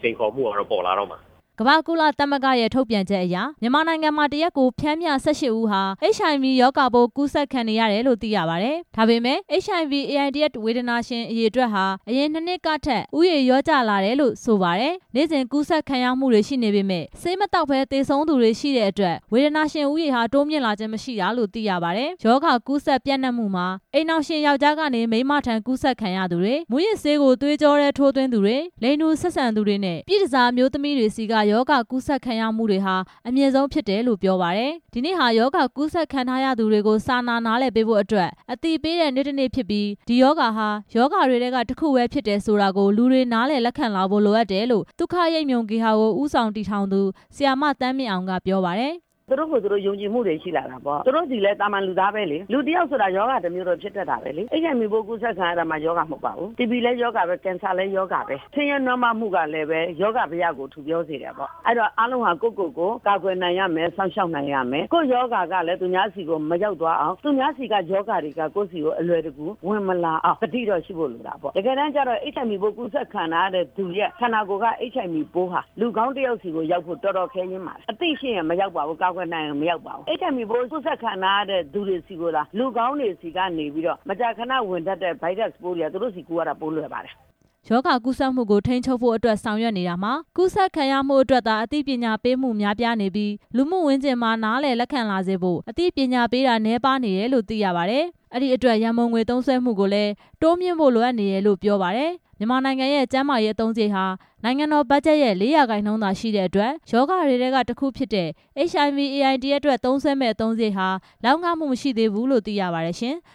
စိန်ခေါ်မှှုတွေက ပေါ်လာတော့မှာ။ ကမ္ဘာ့ကုလသမဂ္ဂရဲ့ ထုတ်ပြန်ချက်အရ မြန်မာနိုင်ငံမှာ တစ်ရက်ကိုပျှမ်းမျှ ၁၈ ဦးဟာ HIV ရောဂါပိုး ကူးစက် ခံနေရတယ်လို့သိရပါတယ်။ ဒါပေမယ့် HIV/AIDS ရောဂါကူးစက်ခံရသူအရေအတွက်ဟာ အရင်နှစ်နှစ်ကဦးရေထက် လျှော့ကျ လာတယ်လို့ ဆိုပါတယ်။ နေ့စဉ်ကူးစက်ခံရမှုတွေရှိနေပေမယ့် ဆေးမသောက်ပဲသေဆုံးသူတွေ ရှိတဲ့အတွက် ဝေဒနာရှင်ဦးရေ ဟာ တိုးမြင့်လာခြင်းမရှိတာလို့ သိရပါတယ်။ ရောဂါကူးစက်ပျံနှံမှုမှာ အိမ်ထောင်ရှင်ယောက်ျားကနေ မိန်းမထံကူးစက်ခံရသူတွေ၊ မူးယစ်ဆေးကို သွေးကြော တွင်းထိုးသွင်းသူတွေ၊ လိင်တူဆက်ဆံသူတွေနဲ့ ပြည့်တန်ဆာအမျိုးသမီးတွေဆီက ကူးစက်ခံရမှုတွေဟာ အမြင့်ဆုံးဖြစ်တယ်လို့ ပြောပါတယ်။ ဒီနေ့ဟာ ရောဂါကူးစက်ခံထားရသူတွေကို စာနာနားလည်ပေးဖို့အတွက် အသိပေးတဲ့နေ့တစ်နေ့ ဖြစ်ပြီး ဒီရောဂါဟာ ရောဂါတွေထဲကတစ်ခုပဲ ဖြစ်တယ်ဆိုတာကို လူတွေကနားလည် လက်ခံလာဖို့ လိုအပ်တယ်လို့ သုခရိပ်မြုံဂေဟာကို ဦးဆောင်တည်ထောင်သူ ဆရာမသန်းမြင့်အောင်က ပြောပါတယ်။ ဆရာမ သန်းမြင့်အောင်။ ။သူတို့ကိုသူတို့ ယုံကြည်မှှုတွေရှိလာတာပေါ့၊ သူတို့ဆိုတာကလည်း လူသားပဲလေ၊ လူတစ်ယောက်ဆိုတာ ရောဂါတစ်မျိုးတော့ ဖြစ်တက်တာပဲလေ၊ HIV ပိုးကူးစက်ခံရမှ ရောဂါမဟုတ်ပါဘူး၊ တီဘီလည်း ရောဂါပဲ၊ ကင်ဆာလည်း ရောဂါပဲ၊ ဆင်းရဲနွမ်းပါးမှှုကလည်း ရောဂါဘယကို ထူပြောစေတယ်ပေါ့၊ အဲ့ဒီတော့ အားလုံးဟာ ကိုယ့်ကိုကိုယ် ကာကွယ်နိုင်ရမယ်၊ စောင့်ရှောက်နိုင်ရမယ်၊ ကိုယ့်ရောဂါကလည်း သူများ ဆီကို မရောက်သွားအောင် သူများဆီကရောဂါတွေက ကိုယ့်ဆီကိုအလွယ်တကူ ဝင်မလာအောင် သိတော့ရှိဖို့ လိုတယ်၊ တကယ်တမ်းကျတော့ HIV ပိုးကူးစက်ခံထားရသူရဲ့ ခန္ဓာကိုယ်က HIV ပိုးဟာ လူကောင်းတစ်ယောက်ဆီ ကိုရောက်ဖို့ တော်တော်ခဲယဉ်းပါတယ်၊ အသိရှိရင်မရောက်ပါဘူး၊ ကာကွယ်နိုင်ရင်မရောက်ပါဘူး၊ HIV ပိုးကူးစက် ခံထားရတဲ့သူတွေဆီကိုသာ လူကောင်းတွေဆီကနေပြီးတော့ မကြာခဏဝင်တက်တဲ့ ဗိုင်းရပ်စ်တွေက သူတို့ဆီ ကူးသွားတာ ပိုလွယ်ပါတယ်။ ရောဂါကူးစက်မှုကို ထိန်းချုပ်ဖို့အတွက် ဆောင်ရွက်နေတာမှာ ကူးစက်ခံရမှုအတွက်သာ အသိပညာပေးမှုများပြား ပြီး လူမှုဝန်းကျင်က နားလည်လက်ခံလာစေဖို့ အသိပညာပေးတာ နည်းပါးနေတယ်လို့သိရပါတယ်။ အဲ့ဒီအတွက် ရန်ပုံငွေသုံးစွဲမှုကိုလည်း တိုးမြင့်ဖို့လိုအပ်နေတယ်လို့ ပြောပါတယ်။ မြန်မာနိုင်ငံရဲ့ ကျမ်းမာရေးအသုံးစရိတ်ဟာ နိုင်ငံတော်ဘတ်ဂျတ်ရဲ့ ၄ ရာခိုင်နှုန်းသာရှိတဲ့ အတွက် ရောဂါတွေထဲ က တစ်ခုဖြစ်တဲ့ HIV/AIDS အတွက် သုံးစွဲမယ့်အသုံးစရိတ်ဟာ လောက်ငမှုမရှိသေးဘူးလို့ သိရပါတယ်ရှင်။